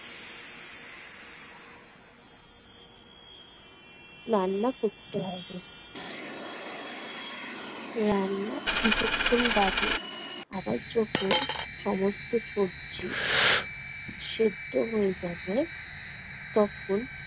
রান্না করতে হবে। রান্নার কিছুক্ষণ বাদে আবার যখন সমস্ত সবজি সেদ্ধ হয়ে যাবে তখন